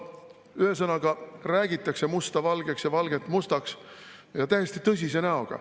Ühesõnaga, räägitakse musta valgeks ja valget mustaks, ja täiesti tõsise näoga.